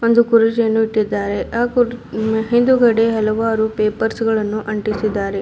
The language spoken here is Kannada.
ಒಂದು ಕುರುಚಿಯನ್ನು ಇಟ್ಟಿದ್ದಾರೆ ಅ ಕುರ್ ಹಿಂದುಗಡೆ ಹಲವರು ಪೇಪರ್ಸ್ ಗಳನ್ನು ಅಂಟಿಸಿದ್ದಾರೆ.